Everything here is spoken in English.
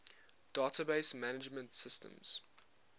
database management systems